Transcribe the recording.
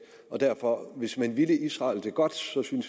og derfor hvis man ville israel det godt synes jeg